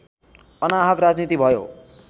अनाहक राजनीति भयो